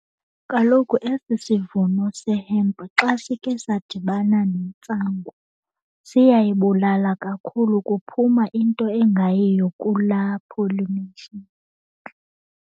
Kaloku esi sivuno sehempu xa sike sadibana nentsangu siyayibulala kakhulu. Kuphuma into engayiyo kulaa pollination.